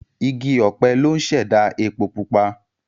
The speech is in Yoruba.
Igi ọ̀pẹ ló ń ṣẹ̀dá epo pupa.